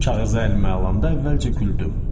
Kağızı əlimə alanda əvvəlcə güldüm.